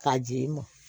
K'a di i mɔ